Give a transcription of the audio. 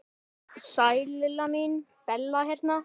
Sæl Lilla mín, Bella hérna.